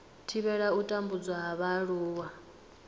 thivhela u tambudzwa ha vhaaluwa